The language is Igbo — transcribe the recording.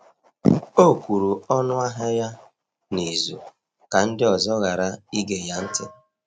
O kwuru ọnụahịa ya n’izu ka ndị ọzọ ghara ige ya ntị.